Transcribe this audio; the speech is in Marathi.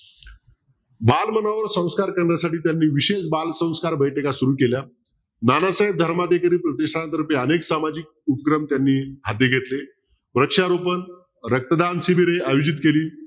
बालमनावर संस्कार करण्यासाठी त्यांनी विशेष बालसंस्कार बैठका सुरु केल्या. नानासाहेब धर्माधिकारी प्रतिष्ठानतर्फे अनेक सामाजिक उपक्रम त्यांनी हाती घेतले. वृक्षरोपण रक्तदान शिबिरे आयोजित केली.